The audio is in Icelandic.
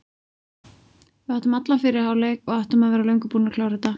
Við áttum allan fyrri hálfleik og áttum að vera löngu búnir að klára þetta.